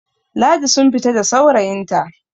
Ladi sun fita da saurayinta